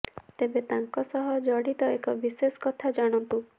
ତେବେ ତାଙ୍କ ସହ ଜଡ଼ିତ ଏକ ବିଶେଷ କଥା ଜାଣନ୍ତୁ